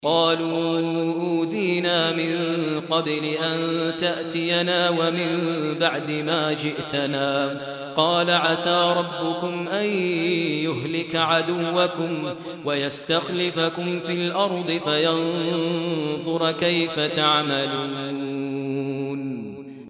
قَالُوا أُوذِينَا مِن قَبْلِ أَن تَأْتِيَنَا وَمِن بَعْدِ مَا جِئْتَنَا ۚ قَالَ عَسَىٰ رَبُّكُمْ أَن يُهْلِكَ عَدُوَّكُمْ وَيَسْتَخْلِفَكُمْ فِي الْأَرْضِ فَيَنظُرَ كَيْفَ تَعْمَلُونَ